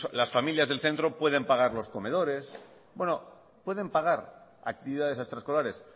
las familias del centro pueden pagar los comedores bueno pueden pagar actividades extraescolares